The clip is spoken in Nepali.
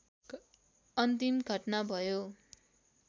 अन्तिम घटना भयो